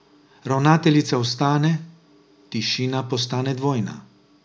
Ravnateljica vstane, tišina postane dvojna.